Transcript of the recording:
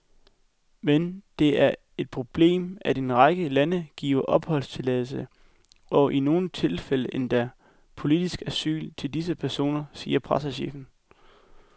Men det er et stort problem, at en række lande giver opholdstilladelse og i nogle tilfælde endda politisk asyl til disse personer, siger pressechefen.